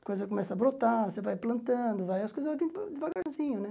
A coisa começa a brotar, você vai plantando, as coisas vêm de devagarzinho, né?